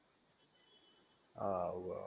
હા આવું હ